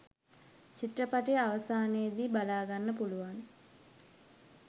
චිත්‍රපටියේ අවසානයේදී බලාගන්න පුලුවන්.